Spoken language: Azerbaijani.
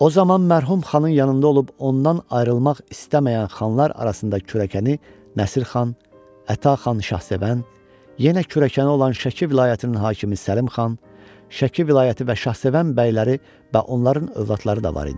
O zaman mərhum xanın yanında olub ondan ayrılmaq istəməyən xanlar arasında kürəkəni Nəsir xan, Əta xan Şahsevən, yenə kürəkəni olan Şəki vilayətinin hakimi Səlim xan, Şəki vilayəti və Şahsevən bəyləri və onların övladları da var idi.